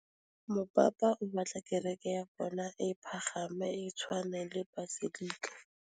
Mopapa o batla kereke ya bone e pagame, e tshwane le paselika.